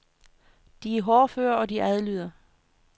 De er hårdføre og de adlyder.